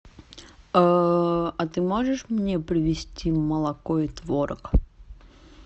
а ты можешь мне привести молоко и творог